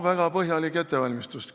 Väga põhjalik ettevalmistus!